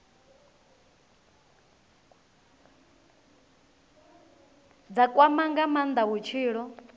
dza kwama nga maanda vhutshilo